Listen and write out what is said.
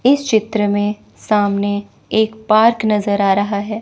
इस चित्र में सामने एक पार्क नजर आ रहा है।